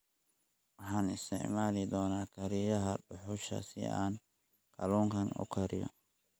Waxaan isticmaali doonaa kariyaha dhuxusha si aan kalluunka u kariyo.